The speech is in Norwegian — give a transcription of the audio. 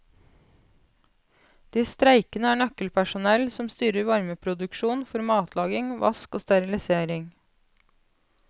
De streikende er nøkkelpersonell som styrer varmeproduksjon for matlaging, vask og sterilisering.